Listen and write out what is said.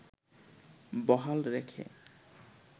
বহাল রেখে